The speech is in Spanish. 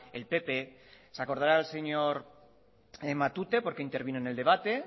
el pp se acordará el señor matute porque intervino en el debate